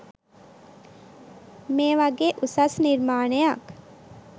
මේ වගේ උසස් නිර්මාණයක්